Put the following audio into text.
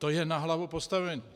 To je na hlavu postavené.